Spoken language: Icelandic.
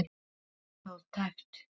Stóð tæpt